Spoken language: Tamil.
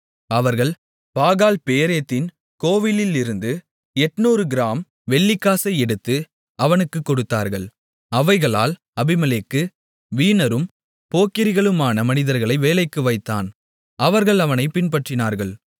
அவர்கள் பாகால் பேரீத்தின் கோவிலிலிருந்து 800 கிராம்ஸ் வெள்ளிக்காசை எடுத்து அவனுக்குக் கொடுத்தார்கள் அவைகளால் அபிமெலேக்கு வீணரும் போக்கிரிகளுமான மனிதர்களை வேலைக்கு வைத்தான் அவர்கள் அவனைப் பின்பற்றினார்கள்